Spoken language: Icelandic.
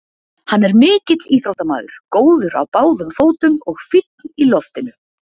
Hann er mikill íþróttamaður, góður á báðum fótum og fínn í loftinu.